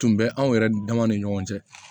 Tun bɛ anw yɛrɛ dama ni ɲɔgɔn cɛ